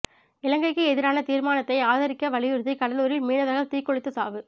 இலங்கைக்கு எதிரான தீர்மானத்தை ஆதரிக்க வலியுறுத்தி கடலூரில் மீனவர் தீக்குளித்து சாவு